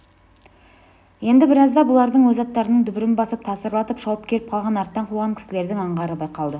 енді біразда бұлардың өз аттарының дүбірін басып тасырлатып шауып келіп қалған арттан қуған кісілердің аңғары байқалды